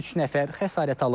Üç nəfər xəsarət alıb.